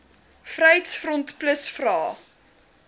vryheids front plus vra